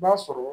I b'a sɔrɔ